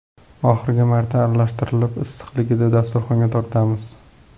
Oxirgi marta aralashtirib, issiqligida dasturxonga tortamiz.